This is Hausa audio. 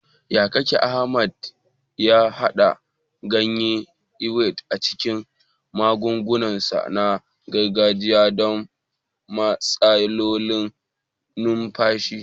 Ta yaya kaka Ahmed ya haɗa ganyen Ewe a cikin magungunansa na gargajiya don matsalolin numfashi?